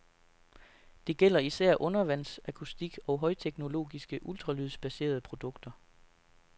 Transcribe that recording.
Det gælder især undervandsakustik og højteknologiske, ultralydsbaserede produkter.